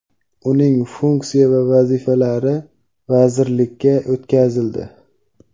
uning funksiya va vazifalari vazirlikka o‘tkazildi.